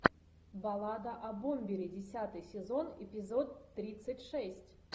баллада о бомбере десятый сезон эпизод тридцать шесть